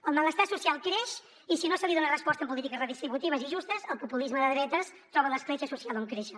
el malestar social creix i si no se li dona resposta en polítiques redistributives i justes el populisme de dretes troba l’escletxa social on créixer